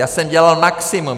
Já jsem dělal maximum.